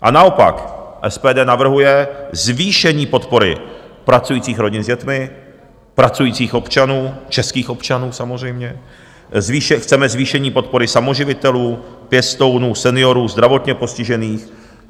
A naopak, SPD navrhuje zvýšení podpory pracujících rodin s dětmi, pracujících občanů, českých občanů samozřejmě, chceme zvýšení podpory samoživitelů, pěstounů, seniorů, zdravotně postižených.